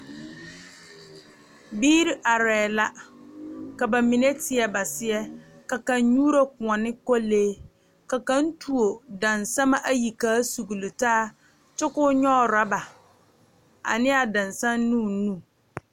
Biiri arɛɛ la ka ba mine teɛ ba seɛ ka kaŋ nyuuro koɔ ne kolee ka kaŋ tuo dansama ayi ka a sugle taa kyɛ ka o nyɔge ɔrɔɔba ane a dansaŋ ne o nu.